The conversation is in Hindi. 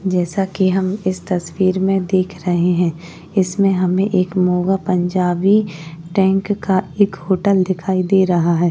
जैसा कि हम इस तस्वीर में देख रहे हैं। इसमें हमे एक मोगा पंजाबी टंगका एक होटल दिखाई दे रहा है।